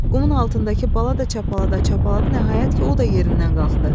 Qumun altındakı bala da çapalada-çapaladı nəhayət ki, o da yerindən qalxdı.